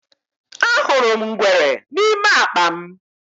Ahụrụ m ngwere n’ime akpa m.